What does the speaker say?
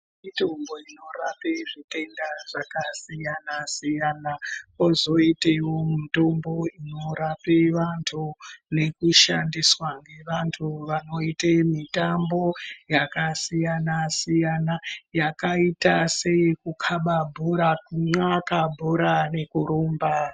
Mitombo inorape zvitenda zvakasiyana-siyana. Kozoitevo mitombo inorape vantu nekushandiswa ngevantu vanoite mutambo yakasiyana-siyana, yakaita seyekukaba bhora kunxaka bhora rekurumba.